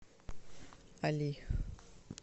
али